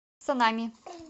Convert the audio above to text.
санами